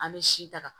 An bɛ si ta